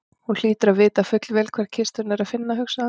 Hún hlýtur að vita fullvel hvar kistuna er að finna, hugsaði hann.